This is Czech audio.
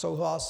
Souhlas?